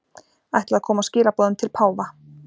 Ætla að koma skilaboðum til páfa